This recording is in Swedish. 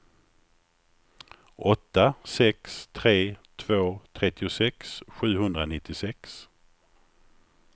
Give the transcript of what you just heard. åtta sex tre två trettiosex sjuhundranittiosex